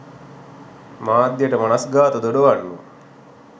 මාධ්‍යයට මනස්ගාත දොඩවන්නෝ